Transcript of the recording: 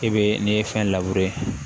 E be ne ye fɛn